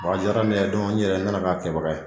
Bɔ a diyara ne yɛrɛ ye, ne nana k'a kɛbaga ye.